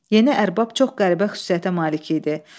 Yeni ərbab çox qəribə xüsusiyyətə malik idi.